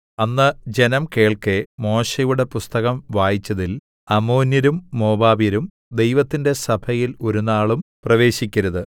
അന്ന് ജനം കേൾക്കെ മോശെയുടെ പുസ്തകം വായിച്ചതിൽ അമ്മോന്യരും മോവാബ്യരും ദൈവത്തിന്റെ സഭയിൽ ഒരുനാളും പ്രവേശിക്കരുത്